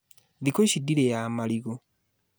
Thikũ ici ndirĩaga marigo